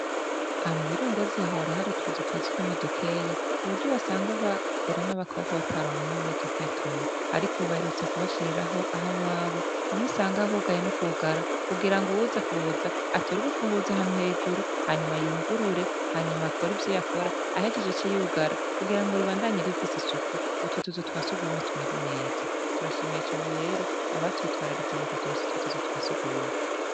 Aha mu Birongozi hora hari utuzu twa surwumwe dukeya ku buryo basanga bagore n'abakobwa bataronka aho baja kwituma ariko ubu baherutse kubashiriraho aho babo, hamwe usanga hugaye n'ukugara kugira ngo uwuza kuza atore urufunguzo ahantu hejuru, hanyuma yugurure, hanyuma kore ivyo yakora, ahejeje ace yugara kugira ngo ribandanye rifisi isuku, utwo tuzu twa surwumwe tumere neza. Turashimiye cane rero abatwitwararitse mu kuturonsa utwo tuzu twa surwumwe.